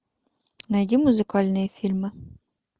найди музыкальные фильмы